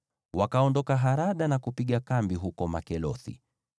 Wakaondoka Harada na kupiga kambi huko Makelothi.